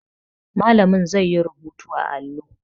Malamin zai yi rubutu a allo